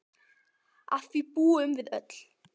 Að því búum við öll.